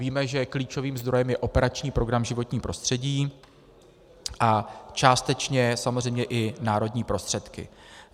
Víme, že klíčovým zdrojem je operační program Životní prostředí a částečně samozřejmě i národní prostředky.